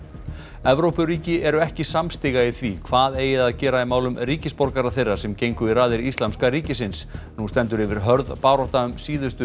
Evrópuríki eru ekki samstiga í því hvað eigi að gera í málum ríkisborgara þeirra sem gengu í raðir Íslamska ríkisins nú stendur yfir hörð barátta um síðustu